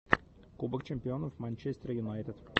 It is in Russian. кубок чемпионов манчестер юнайтед